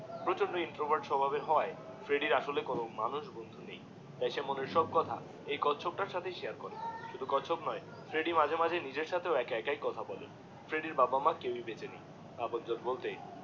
প্রচন্ড ইন্ট্রোভার্ট স্বভাবের হওয়ায় ফ্রেডির আসলে কোনো মানুষ বন্ধু নেই তাই সে মনের সব সে এই কচ্ছপ তার সাথেই শেয়ার করে শুধু কচ্ছপ নয় ফ্রেডিডিএ মাঝে মাঝে নিজের সাথেও একা একাই কথা বলে, ফ্রেডির মা বাবা কেও এ বেঁচে নেই